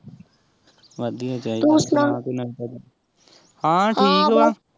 ਵਧੀਆ ਚਾਹੀਦਾ ਸੁਣਾ ਕੋਈ ਨਵੀ ਤਾਜ਼ੀ ਹਾਂ ਠੀਕ ਵਾਂ